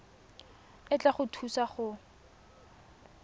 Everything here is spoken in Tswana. e tla go thusa go